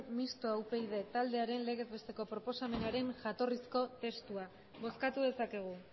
mistoa upyd taldearen legez besteko proposamenaren jatorrizko testua bozkatu dezakegu